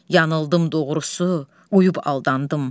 Yanıldım doğrusu, uyub aldandım.